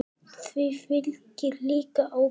Því fylgir líka ábyrgð.